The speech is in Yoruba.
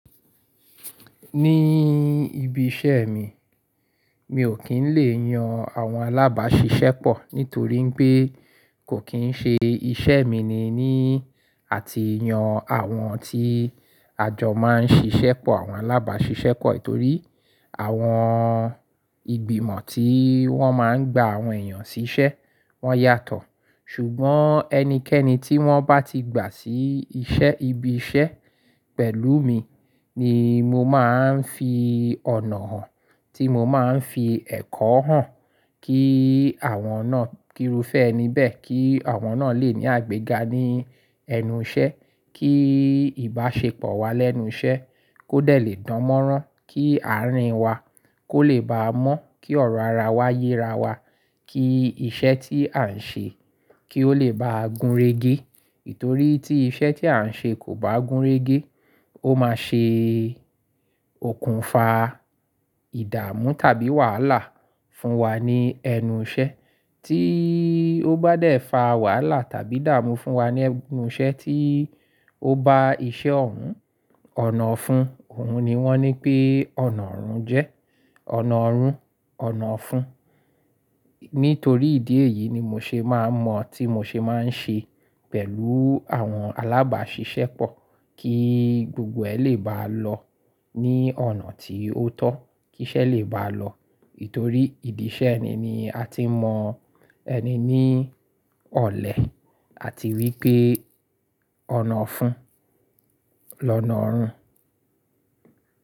Ní ibi iṣẹ́ mi, mi ò kí ń lè yan àwọn alábàáṣiṣẹ́pọ̀ nítorí pé kò kíń ṣe iṣẹ́ mi ni ní àti yan àwọn tí àjọ máa ń ṣiṣẹ́pọ̀ àwọn alábàáṣiṣẹ́pọ̀. Torí àwọn ìgbìmọ̀ tí wọ́n máa ń gba àwọn èèyàn sí iṣẹ́, wọ́n yàtọ̀. Ṣùgbọ́n ẹnikẹ́ni tí wọ́n bá ti gbà sí iṣẹ́, ibi iṣẹ́ pẹ̀lú mi ni mo máa ń fi ọ̀nà hàn, tí mo máa ń fi ẹ̀kọ́ hàn kí àwọn náà kíru fẹ́ níbẹ̀, kí àwọn náà lè ní àgbéga ní ẹnu iṣẹ́, kí ìbáṣepọ̀ wa lẹ́nu iṣẹ́ kó dẹ̀ lè dánmọ́rán, kí àárín wa kó lè bá a mọ́, kí ọ̀rọ̀ ara wa yé ara wa, kí iṣẹ́ tí à ń ṣe kí ó lè báa gúnrégé. Nítorí tí iṣẹ́ tí à ń ṣe kò bá gúnrégé, ó máa ṣe òkùnfà, ìdààmú tàbí wàhálà fún wa ní ẹnu iṣẹ́ tí ó bá dé fa wàhálà tàbí dààmú fún wa ní ẹnu iṣẹ́ tí ó bá iṣẹ́ ọ̀ ún, ọ̀nà ọ̀fún, òun ni wọ́n ní pé ọ̀nà ọ̀run jẹ́. Ọ̀nà ọ̀run, ọ̀nà ọ̀fún. Nítorí ìdí èyí ni mo ṣe máa mọ̀ tí mo ṣe máa ń ṣe pẹ̀lú àwọn alábàáṣiṣẹ́pọ̀ kí gbogbo ẹ̀ lè bá lọ ní ọ̀nà tí ó tọ́, kí iṣẹ́ lè bá lọ. Itorí ìdí iṣẹ́ eni ni a ti mọ ẹni ní ọ̀lẹ, àti wípé ọ̀nà ọ̀fún lọ́nà ọ̀run.